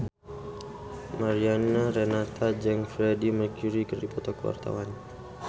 Mariana Renata jeung Freedie Mercury keur dipoto ku wartawan